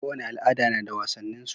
Kowane al'ada nada wasannin su